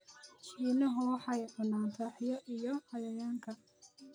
Shiinuhu waxay cunaan rahyo iyo cayayanka